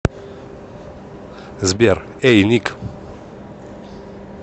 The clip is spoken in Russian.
сбер эй ник